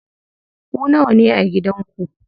Ku nawane a gidan ku?